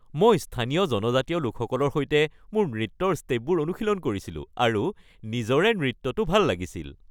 মই স্থানীয় জনজাতীয় লোকসকলৰ সৈতে মোৰ নৃত্যৰ ষ্টেপবোৰ অনুশীলন কৰিছিলো আৰু নিজৰে নৃত্যটো ভাল লাগিছিল।